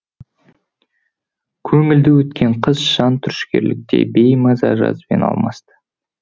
көңілді өткен қыс жан түршігерлікгей беймаза жазбен алмасты